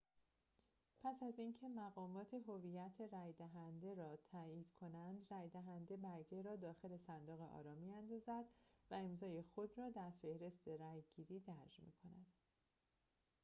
پس از اینکه مقامات هویت رأی‌دهنده را تأیید کنند رأی‌دهنده برگه را داخل صندوق آرا می‌اندازد و امضای خود را در فهرست رأی‌گیری درج می‌کند